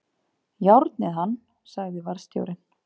Járnið hann! sagði varðstjórinn.